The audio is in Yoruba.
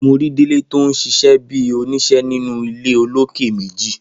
Mo ri Délé ton ṣíṣe bẹ oníṣe ninu ile olókè méjì